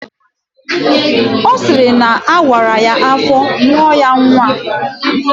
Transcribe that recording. Ọ sịrị na awara ya afọ mụọ ya nnwa